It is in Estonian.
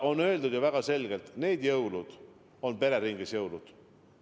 On ju öeldud väga selgelt: need jõulud on pereringis jõulud.